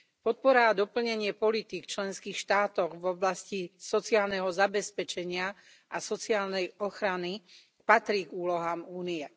Podpora a doplnenie politík členských štátov v oblasti sociálneho zabezpečenia a sociálnej ochrany patrí k úlohám únie.